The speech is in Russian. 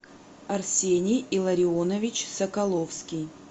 арсений илларионович соколовский